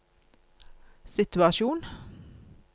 situasjon